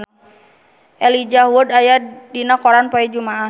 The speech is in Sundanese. Elijah Wood aya dina koran poe Jumaah